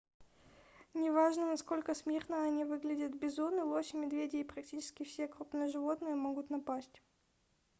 неважно насколько смирно они выглядят - бизоны лоси медведи и практически все крупные животные могут напасть